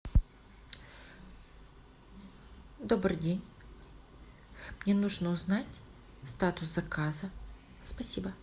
добрый день мне нужно узнать статус заказа спасибо